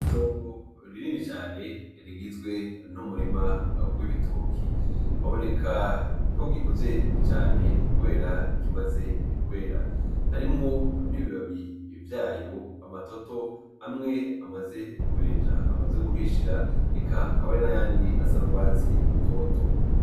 Itongo rinini cane rigizwe n'umurima w'ibitoki. Biboneka ko gikuze cane kubera kimaze kwera. Harimwo n'ibibabi vyayo n'amatoto amwe amaze kubenja(amaze guhishira), eka akaba ari nayandi asa n'urwatsi rutoto.